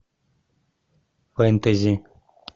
фэнтези